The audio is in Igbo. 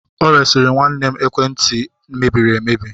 O resịrị nwanne m ekwentị ekwentị mebiri emebi